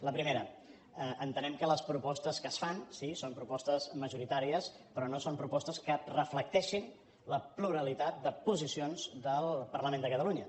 la primera entenem que les propostes que es fan sí són propostes majoritàries però no són propostes que reflecteixin la pluralitat de posicions del parlament de catalunya